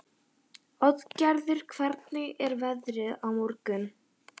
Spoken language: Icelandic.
Oddgerður, hvernig er veðrið á morgun?